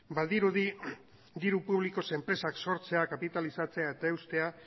badirudi diru publikoz enpresak sortzea kapitalizatzea eta eustea